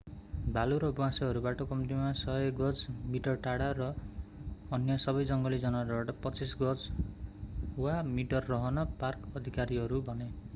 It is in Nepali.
भालु र ब्वाँसोहरूबाट कम्तीमा 100 गज/ मिटर टाढा र अन्य सबै जङ्गली जनावरहरूबाट 25 गज/मिटर रहन पार्क अधिकारीहरू भने!